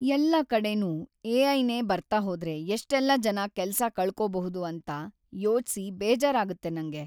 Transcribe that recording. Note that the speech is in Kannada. ಎಲ್ಲಾ ಕಡೆನೂ ಎ.ಐ.ನೇ ಬರ್ತಾ ಹೋದ್ರೆ ಎಷ್ಟೆಲ್ಲ ಜನ ಕೆಲ್ಸ ಕಳ್ಕೊಬಹುದು ಅಂತ ಯೋಚ್ಸಿ ಬೇಜಾರಾಗತ್ತೆ ನಂಗೆ.